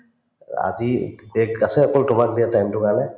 অ‍ আজি break আছে অকল তোমাক দিয়া time তোৰ কাৰণে